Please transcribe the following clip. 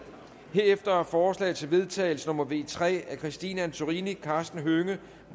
herefter er forslag til vedtagelse nummer v tre af christine antorini karsten hønge